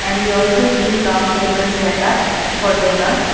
and we also see round table setup for dinner.